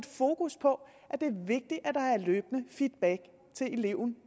fokus på at det er vigtigt at der er løbende feedback til eleven